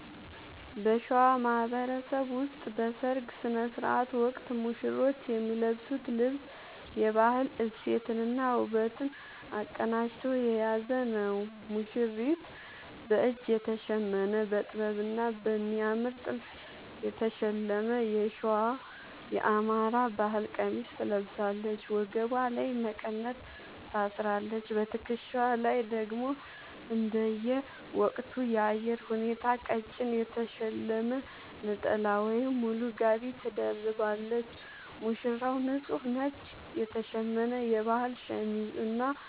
በሸዋ ማህበረሰብ ውስጥ በሠርግ ሥነ ሥርዓት ወቅት ሙሽሮች የሚለብሱት ልብስ የባህል እሴትንና ውበትን አቀናጅቶ የያዘ ነው፦ ሙሽሪት፦ በእጅ የተሸመነ: በጥበብና በሚያምር ጥልፍ የተሸለመ የሸዋ (የአማራ) ባህል ቀሚስ ትለብሳለች። ወገቧ ላይ መቀነት ታስራለች: በትከሻዋ ላይ ደግሞ እንደየወቅቱ የአየር ሁኔታ ቀጭን የተሸለመ ነጠላ ወይም ሙሉ ጋቢ ትደርባለች። ሙሽራው፦ ንጹህ ነጭ የተሸመነ የባህል ሸሚዝ እና